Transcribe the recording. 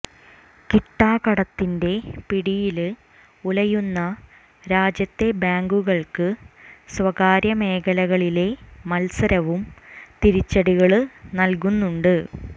കിട്ടാകടത്തിന്റെ പിടിയില് ഉലയുന്ന രാജ്യത്തെ ബാങ്കുകള്ക്ക് സ്വകാര്യ മേഖലകളിലെ മത്സരവും തിരിച്ചടികള് നല്കുന്നുണ്ട്